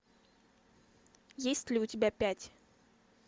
есть ли у тебя пять